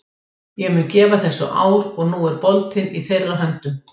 Ég mun gefa þessu ár og nú er boltinn í þeirra höndum.